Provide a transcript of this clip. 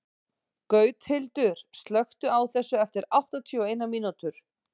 Gauthildur, slökktu á þessu eftir áttatíu og eina mínútur.